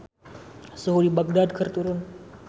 Suhu di Bagdad keur turun